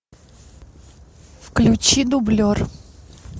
включи дублер